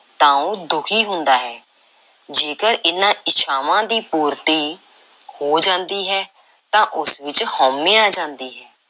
ਤਾਂ ਉਹ ਦੁਖੀ ਹੁੰਦਾ ਹੈ ਤੇ ਜੇਕਰ ਇਹਨਾਂ ਇੱਛਾਵਾਂ ਦੀ ਪੂਰਤੀ ਹੋ ਜਾਂਦੀ ਹੈ ਤਾਂ ਉਸ ਵਿੱਚ ਹਉਮੈ ਆ ਜਾਂਦੀ ਹੈ,